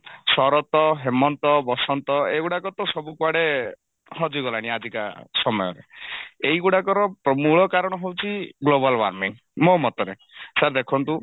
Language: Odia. ଶରତ ହେମନ୍ତ ବସନ୍ତ ଏଇଗୁଡାକ ତ ସବୁ କୁଆଡେ ହଜିଗଲାଣି ଆଜିକା ସମୟରେ ଏଇଗୁଡାକର ମୂଳ କାରଣ ହଉଛି global warming ମୋ ମତରେ sir ଦେଖନ୍ତୁ